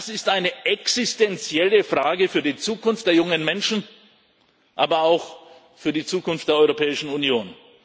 Das ist eine existenzielle Frage für die Zukunft der jungen Menschen, aber auch für die Zukunft der Europäischen Union.